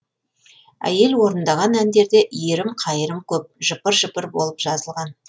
әйел орындаған әндерде иірім қайырым көп жыпыр жыпыр болып жазылған